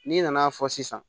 N'i nana fɔ sisan